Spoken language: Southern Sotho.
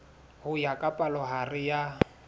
ho ya ka palohare ya